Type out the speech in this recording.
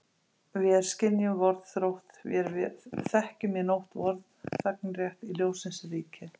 Vér skynjum vorn þrótt, vér þekkjum í nótt vorn þegnrétt í ljóssins ríki.